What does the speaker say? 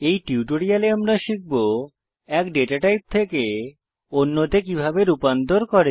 এই টিউটোরিয়ালে আমরা শিখব এক ডেটা টাইপ থেকে অন্যতে কিভাবে রূপান্তর করে